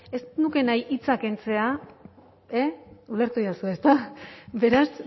ez nuke nahi hitza kentzea e ulertu didazue ezta beraz